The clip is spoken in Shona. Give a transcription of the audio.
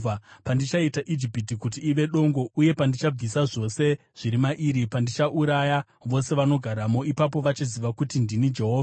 Pandichaita Ijipiti kuti ive dongo uye pandichabvisa zvose zviri mairi, pandichauraya vose vanogaramo, ipapo vachaziva kuti ndini Jehovha.’